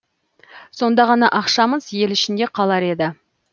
сонда ғана ақшамыз ел ішінде қалар еді